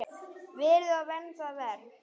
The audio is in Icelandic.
Verið og verndað og vermt.